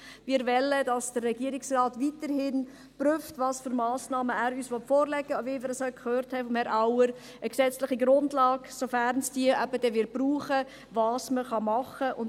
Wir wollen, dass der Regierungsrat weiterhin prüft, welche Massnahmen er uns vorlegen will, wie wir dies auch von Herrn Auer gehört haben: eine gesetzliche Grundlage, sofern es diese eben brauchen wird, und was man tun kann.